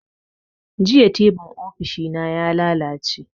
Jiya tibin ofishi na ya lalace